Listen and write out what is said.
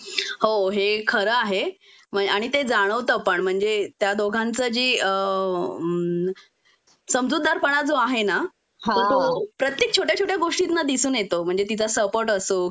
हो हे खरं आहे आणि ते जाणवत पण म्हणजे त्या दोघांच जी अ हं समजूतदारपण जो आहे ना तर तो प्रत्येक छोट्या छोट्या गोष्टींतन दिसून येतो म्हणजे तिचा सपोर्ट असो